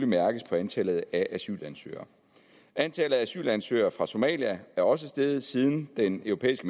mærkes på antallet af asylansøgere antallet af asylansøgere fra somalia er også steget siden den europæiske